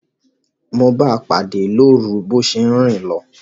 Mo báa pàdé lórun bo se n rin lo